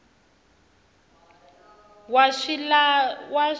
wa swilahlo a ri na